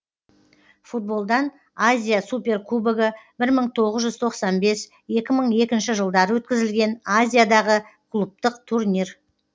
футболдан азия суперкубогы бір мың тоғыз жүз тоқсан бес екі мың екінші жылдары өткізілген азиядағы клубтық турнир